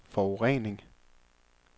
forurening